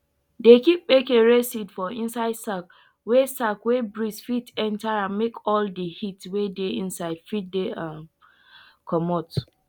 dey keep kpekere seed for inside sack wey sack wey breeze fit enter make all de heat wey dey inside fit dey um comot